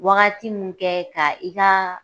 Wagati mun kɛ, ka i ka